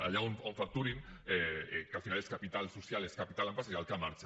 allà on facturin que al final és capital social és capital empresarial que marxa